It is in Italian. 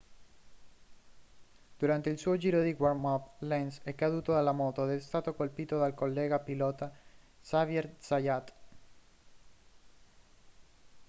durante il suo giro di warm-up lenz è caduto dalla moto ed è stato colpito dal collega pilota xavier zayat